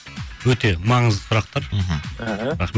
өте маңызды сұрақтар мхм аха рахмет